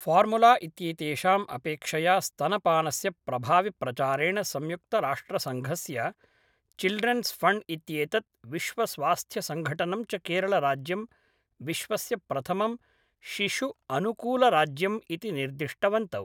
formula इत्येतेषाम् अपेक्षया स्तनपानस्य प्रभाविप्रचारेण संयुक्तराष्ट्रसङ्घस्य चिल्ड्रेंस् फ़ण्ड् इत्येतत् विश्वस्वास्थ्यसङ्गठनं च केरलराज्यं विश्वस्य प्रथमं शिशुअनुकूलराज्यम् इति निर्दिष्टवन्तौ